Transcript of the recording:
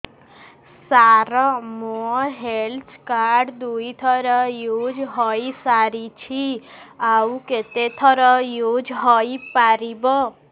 ସାର ମୋ health card ଦୁଇ ଥର ୟୁଜ଼ ହୈ ସାରିଛି ଆଉ କେତେ ଥର ୟୁଜ଼ ହୈ ପାରିବ